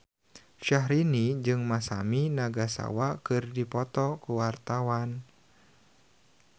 Syahrini jeung Masami Nagasawa keur dipoto ku wartawan